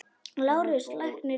LÁRUS: Lækninn yðar?